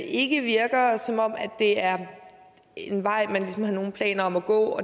ikke virker som om det er en vej man ligesom har nogen planer om at gå og